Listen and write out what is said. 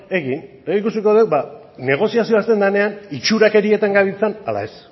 egin eta ikusiko dugu ba negoziazioa hasten denean itxurakerietan gabiltzan ala ez